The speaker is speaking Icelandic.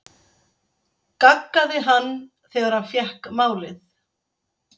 gaggaði hann þegar hann fékk málið.